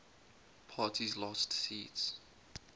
parties lost seats